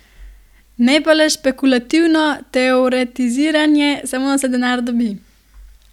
Ne pa le špekulativno teoretiziranje, samo da se denar dobi!